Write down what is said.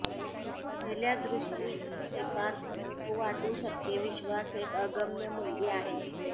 पहिल्या दृष्टीक्षेपात तो वाटू शकते विश्वास एक अगम्य मुलगी आहे